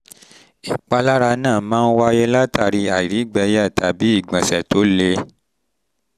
ìpalára náà máa ń wáyé látàri àìrígbẹ̀ẹ́yà tàbí ìgbọ̀nsẹ̀ tó le